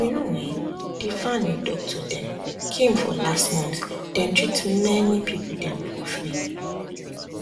you know[um]the van with doctor dem came for last month dem treat many people dem for free